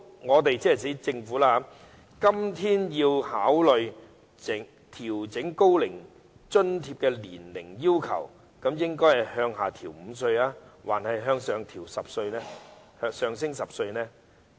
我們今天如要考慮調整高齡津貼的年齡要求，究竟應該是把門檻降低5歲，還是上調10歲呢？